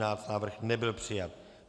Návrh nebyl přijat.